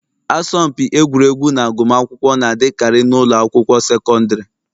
Asọmpi egwuregwu na agụmakwụkwọ na-adịkarị n'ụlọ akwụkwọ sekọndrị.